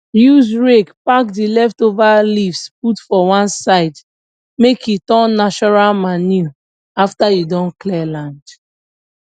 use rake pack the leftover leaves put for one side make e turn natural manure after you don clear land